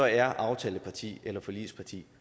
er aftaleparti eller forligsparti